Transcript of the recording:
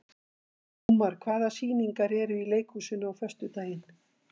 Ómar, hvaða sýningar eru í leikhúsinu á föstudaginn?